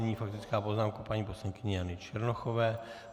Nyní faktická poznámka paní poslankyně Jany Černochové.